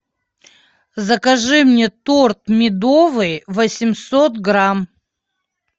закажи мне торт медовый восемьсот грамм